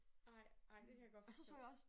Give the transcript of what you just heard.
Ej ej det kan jeg godt forstå